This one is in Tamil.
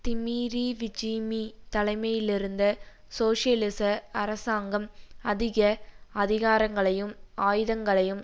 திமீறீவீஜீமீ தலமையிலிருந்த சோசியலிச அரசாங்கம் அதிக அதிகாரங்களையும் ஆயுதங்களையும்